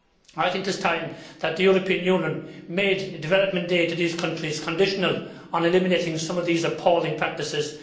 I think it is time that the European Union made development aid to these countries conditional on eliminating some of these appalling practices.